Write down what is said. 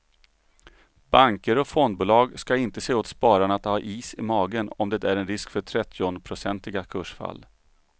Banker och fondbolag ska inte säga åt spararna att ha is i magen om det är en risk för trettionprocentiga kursfall.